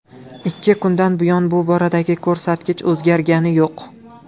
Ikki kundan buyon bu boradagi ko‘rsatkich o‘zgargani yo‘q.